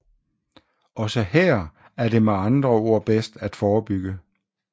Også her er det med andre ord bedst at forebygge